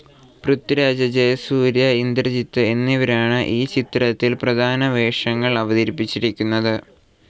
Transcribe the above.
പൃഥ്വിരാജ്, ജയസൂര്യ, ഇന്ദ്രജിത്ത് എന്നിവരാണ് ഈ ചിത്രത്തിൽ പ്രധാനവേഷങ്ങൾ അവതരിപ്പിച്ചിരിക്കുന്നത്.